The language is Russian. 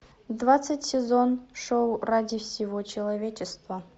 двадцать сезон шоу ради всего человечества